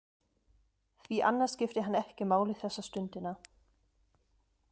Því annað skipti hann ekki máli þessa stundina.